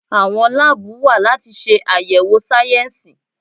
Àwọn láàbù wa láti ṣe àyẹ̀wò sáyẹnsì.